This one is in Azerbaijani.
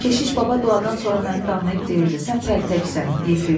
Keşiş baba duadan sonra məni danlayıb deyirdi, sən pəltəksən, Yefim.